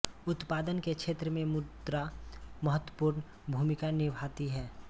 उत्पादन के क्षेत्र में मुद्रा महत्वपूर्ण भूमिका निभाती है